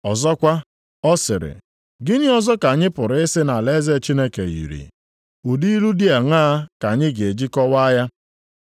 Ọzọkwa, ọ sịrị, “Gịnị ọzọ ka anyị pụrụ ịsị na alaeze Chineke yiri? Ụdị ilu dị aṅaa ka anyị ga-eji kọwaa ya?